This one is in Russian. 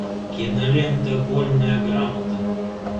кинолента вольная грамота